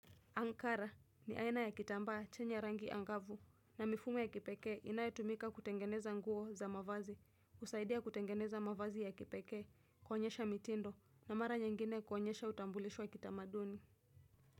Ankara ni aina ya kitambaa chenye rangi angavu na mifumo ya kipekee kinachotumika kutengeneza nguo za mavazi, kusaidia kutengeneza mavazi ya kipekee, kuonyesha mitindo, na mara nyingine kuonyesha utambulisho wa kitamaduni.